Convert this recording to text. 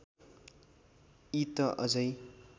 यी त अझै